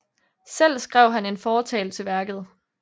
Selv skrev han en fortale til værket